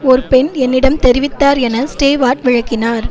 ஒர் பெண் என்னிடம் தெரிவித்தார் என ஸ்டேவார்ட் விளக்கினார்